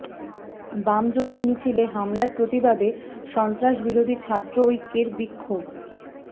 বাম জোটের মিছিলে হামলার প্রতিবাদে সন্ত্রাসবিরোধী ছাত্র ঐক্যের বিক্ষোভ